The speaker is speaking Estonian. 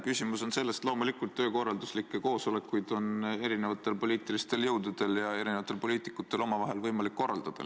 Küsimus on selles, et loomulikult on poliitilistel jõududel ja poliitikutel võimalik omavahel mitmesuguseid koosolekuid korraldada.